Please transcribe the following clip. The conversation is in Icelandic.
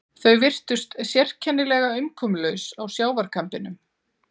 Þau virtust sérkennilega umkomulaus á sjávarkambinum.